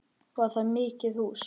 Var það mikið hús.